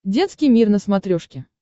детский мир на смотрешке